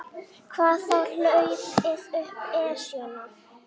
Hvað þá hlaupið upp Esjuna.